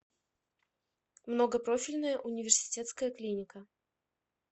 многопрофильная университетская клиника